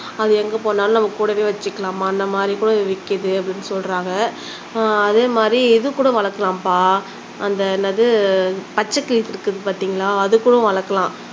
அது எங்க போனாலும் நம்ம கூடவே வச்சுக்கலாமாம் அந்த மாதிரி கூட விற்க்கிதுன்னு சொல்றாங்க அத மாதிரி இது கூட வளக்கலாம்பா அந்த என்னது பச்சக்கிளி இருக்குது பாத்தீங்களா அது கூட வளக்கலாம்